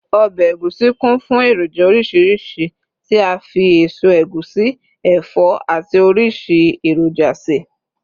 obe egusi kún fún eroja orísirísi ti a fi eso egusi, ẹfọ ati orisi eroja se